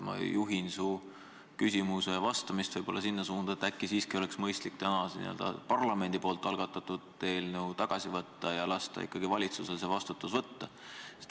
Ma juhin su vastust võib-olla sinna suunda, et äkki oleks mõistlik parlamendi algatatud eelnõu tagasi võtta ja lasta ikkagi valitsusel vastutus võtta.